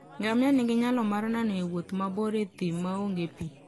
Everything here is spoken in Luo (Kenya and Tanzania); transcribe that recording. Ngamia nigi nyalo mar nano e wuoth mabor e thim maonge pi.